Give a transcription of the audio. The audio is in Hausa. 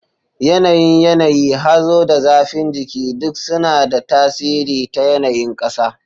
Yanayin yanayi, hazo, da zafin jiki duk suna da tasiri ta yanayin ƙasa.